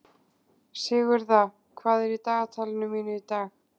Sigurða, hvað er í dagatalinu mínu í dag?